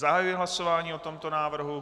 Zahajuji hlasování o tomto návrhu.